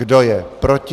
Kdo je proti?